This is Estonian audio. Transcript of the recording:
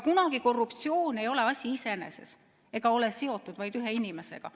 Korruptsioon ei ole kunagi asi iseeneses ega ole seotud vaid ühe inimesega.